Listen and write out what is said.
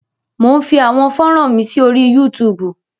Mò ń fi àwọn fọ́ran mi sí orí Yúutùùbù.